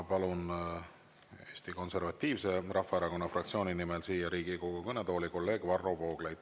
Palun siia Riigikogu kõnetooli Eesti Konservatiivse Rahvaerakonna fraktsiooni nimel kõnelema kolleeg Varro Vooglaiu.